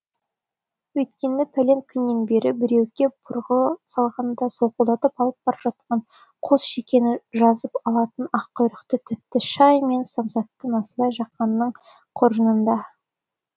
өйткені пәлен күннен бері біреу кеп бұрғы салғандай солқылдатып алып бара жатқан қос шекені жазып алатын ақ құйрық тәтті шай мен самасат насыбай жақанның қоржынында